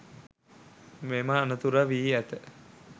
මෙම අනතුර වී ඇත.